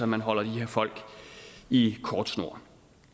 man holder de her folk i kort snor